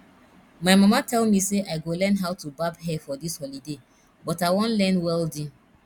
my mama tell me say i go learn how to barb hair for dis holiday but i wan learn welding